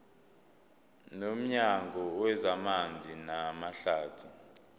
nomnyango wezamanzi namahlathi